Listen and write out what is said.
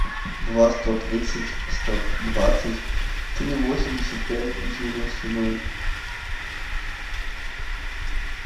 два сто тридцать сто двадцать три восемьдесят пять девяносто ноль